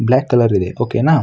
Block colour ಇದೆ okay ನ.